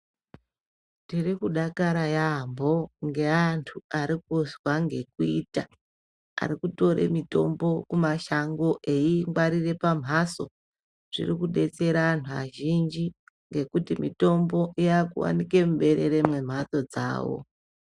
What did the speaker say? Tiri kudakara yabho kunga antu arikunzwa ngekuita arikutore mitombo kumashango eyingwarire pamhaso zvirikubetsera antu azvinhji ngekuti mitombo iwanikwe muberere mwemhando dzavo